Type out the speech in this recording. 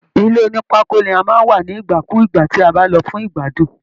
Ilé onipako ni a máa ń wà ní igbakugba ti a ba lọ fún igbadun.